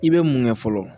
I bɛ mun kɛ fɔlɔ